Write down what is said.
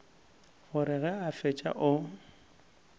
gore ge a fetša o